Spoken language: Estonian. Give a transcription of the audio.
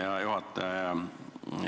Hea juhataja!